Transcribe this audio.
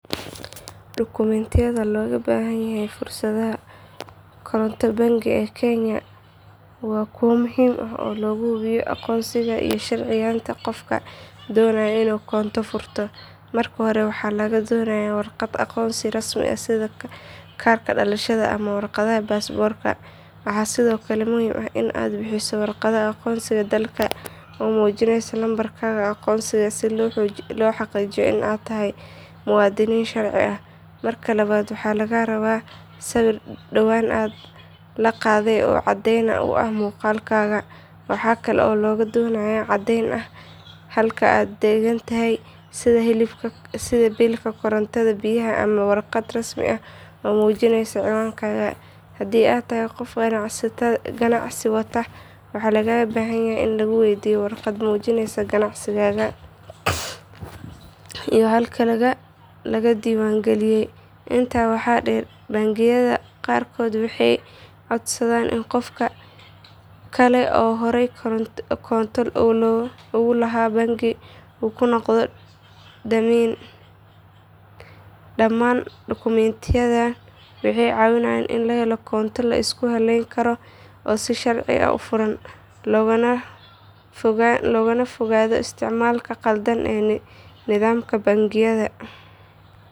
Dukumiintiyada looga baahan yahay furashada koonto bangi ee kenya waa kuwo muhiim ah oo lagu hubiyo aqoonsiga iyo sharciyeynta qofka doonaya inuu koonto furto. Marka hore waxaa lagaa doonayaa warqad aqoonsi rasmi ah sida kaarka dhalashada ama warqadda baasaboorka. Waxaa sidoo kale muhiim ah in aad bixiso warqadda aqoonsiga dalka oo muujinaysa lambarkaaga aqoonsiga si loo xaqiijiyo in aad tahay muwaadin sharci ah. Marka labaad waxaa lagaa rabaa sawir dhowaan la qaaday oo caddeyn u ah muuqaalkaaga. Waxaa kale oo lagaa doonayaa caddeyn ah halka aad degan tahay sida biilka korontada, biyaha ama warqad rasmi ah oo muujinaysa ciwaankaaga. Haddii aad tahay qof ganacsi wata waxaa laga yaabaa in lagu weydiiyo warqad muujinaysa ganacsigaaga iyo halka laga diiwaangeliyay. Intaa waxaa dheer bangiyada qaarkood waxay codsadaan in qof kale oo horey koonto ugu lahaa bangiga uu kuu noqdo dammiin. Dhammaan dukumiintiyadani waxay caawiyaan in la helo koonto la isku halleyn karo oo si sharci ah u furan, loogana fogaado isticmaalka khaldan ee nidaamka bangiyada.